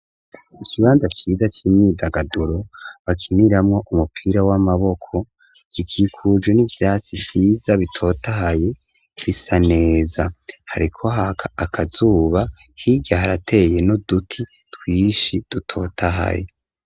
Ikibanza ciza c'imyidagaduro bakiniramwo umupira w'amaboko, gikikujwe n'ivyatsi vyiza bitotahaye bisa neza. Hariko haka akazuba hirya harateye n'uduti twinshi dutotahaye.